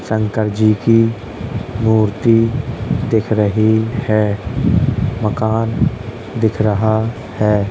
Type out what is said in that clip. शंकर जी की मूर्ति दिख रही है। मकान दिख रहा है।